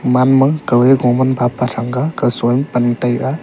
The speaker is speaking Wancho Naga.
man ma kaw eh kauman phapa thang ga kausoe pan taiga.